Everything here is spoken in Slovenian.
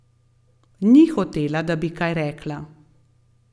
Ni hotela, da bi kaj rekla.